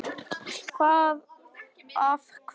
Hvað af hverju?